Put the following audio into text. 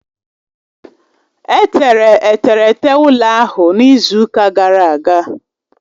Etere eterete ụlọ ahụ n'izu ụka gara aga